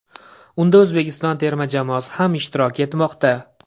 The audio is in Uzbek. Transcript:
Unda O‘zbekiston terma jamoasi ham ishtirok etmoqda.